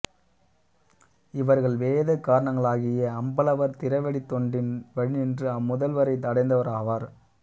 இவர்கள் வேத காரணங்களாகிய அம்பலவர் திருவடித் தொண்டின் வழிநின்று அம்முதல்வரை அடைந்தவராவர்